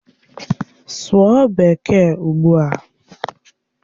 Sụọ Bekee ugbua!